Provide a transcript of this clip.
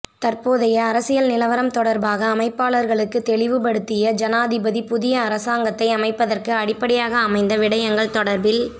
தற்போதைய அரசியல் நிலவரம் தொடர்பாக அமைப்பாளர்களுக்கு தெளிவுபடுத்திய ஜனாதிபதி புதிய அரசாங்கத்தை அமைப்பதற்கு அடிப்படையாக அமைந்த விடயங்கள் தொடர்பில்